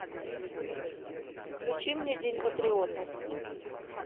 включи мне день патриота